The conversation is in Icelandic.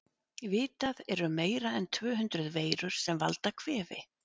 Vitað er um meira en tvö hundruð veirur sem valda kvefi.